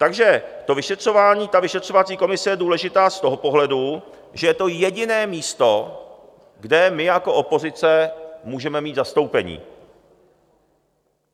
Takže to vyšetřování, ta vyšetřovací komise je důležitá z toho pohledu, že je to jediné místo, kde my jako opozice můžeme mít zastoupení.